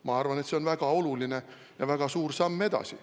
Ma arvan, et see on väga oluline ja väga suur samm edasi.